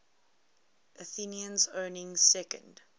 athenians owning second